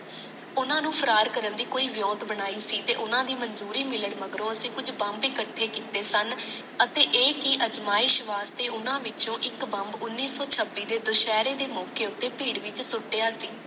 ਓਨਾ ਨੂੰ ਫਰਾਰ ਕਰਨ ਦੀ ਕੋਈ ਵਿਉਂਤ ਬਣਾਈ ਸੀ ਤੇ ਓਨਾ ਦੀ ਮੰਜ਼ੋਰੀ ਮਿਲਣ ਮਗਰੋਂ ਅਸੀ ਕੁਛ ਬੰਬ ਇਕੱਠੇ ਕੀਤੇ ਸਨ ਅੱਤੇ ਏ ਕਿ ਅਜਮਾਇਸ਼ ਵਾਸਤੇ ਓਨਾ ਵਿਚ ਇਕ ਬੰਬ ਓਨੀ ਸੋ ਛਬਿ ਦੇ ਦੁਸਹਿਰੇ ਦੇ ਮੌਕੇ ਉਤੇ ਭੀੜ ਵਿੱਚ ਸੁਟੀਆਂ ਸੀ